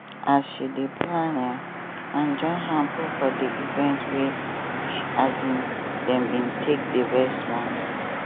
as she dey plan um and join hand put for di event wey um dem be take dey raise money